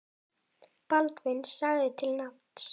Baldvin sagði til nafns.